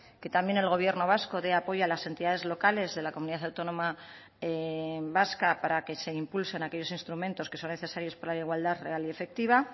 que también el gobierno vasco dé apoyo a las entidades locales de la comunidad autónoma vasca para que se impulsen aquellos instrumentos que son necesarios para la igualdad real y efectiva